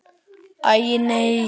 Æi, nei.